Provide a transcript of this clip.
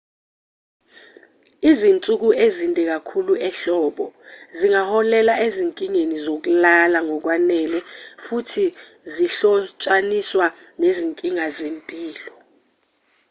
izinsuku ezinde kakhulu ehlobo zingaholela ezinkingeni zokulala ngokwanele futhi zihlotshaniswa nezinkinga zempilo